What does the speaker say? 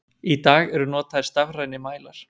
Í dag eru notaðir stafrænir mælar.